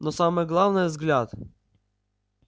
но самое главное взгляд